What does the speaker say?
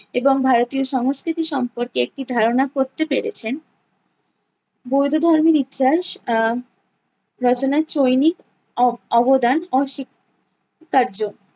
এবং ভারতীয় সংস্কৃতি সম্পর্কে একটি ধারণা করতে পেরেছেন। বৌদ্ধ ধর্মের ইতিহাস আহ রচনায় চৈনিক অ~ অবদান অস্বীকার্য।